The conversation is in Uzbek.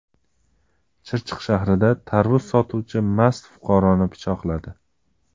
Chirchiq shahrida tarvuz sotuvchi mast fuqaroni pichoqladi.